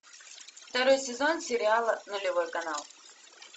второй сезон сериала нулевой канал